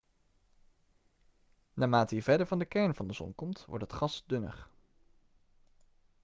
naarmate je verder van de kern van de zon komt wordt het gas dunner